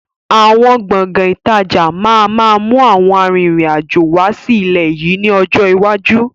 Àwọn Gbọ̀ngán ìtajà máa ma mú àwọn àrin-rìn-àjò wá sí ilẹ̀ yìí ni ọjọ́ iwájú.